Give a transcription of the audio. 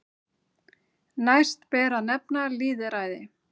Næst ber að nefna lýðræði.